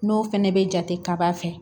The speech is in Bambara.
N'o fɛnɛ bɛ jate kaba fɛ